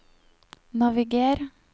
naviger